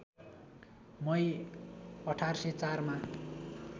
मई १८०४ मा